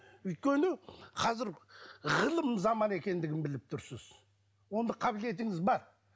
өйткені қазір ғылым заманы екендігін біліп тұрсыз ондай қабілетіңіз бар